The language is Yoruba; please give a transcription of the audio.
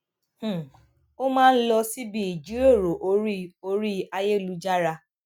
um ó máa ń lọ síbi ìjíròrò orí orí ayélujára